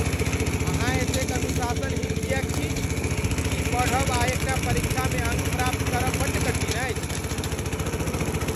अहाँ एतेक अनुशासनहीन किएक छी? की पढ़ब आ एक टा परीक्षा में अङ्क प्राप्त करब बड्ड कठिन अछि?